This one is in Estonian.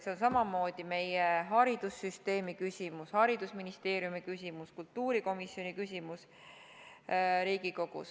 See on samamoodi meie haridussüsteemi küsimus, haridusministeeriumi küsimus, Riigikogu kultuurikomisjoni küsimus.